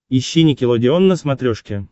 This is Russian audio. ищи никелодеон на смотрешке